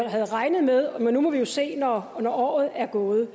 havde regnet med men nu må vi se når året er gået